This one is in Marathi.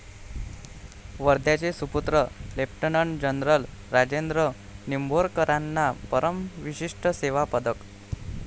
वर्ध्याचे सुपुत्र लेफ्टनंट जनरल राजेंद्र निंभोरकरांना परमविशिष्ट सेवा पदक